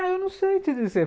Ah, eu não sei te dizer.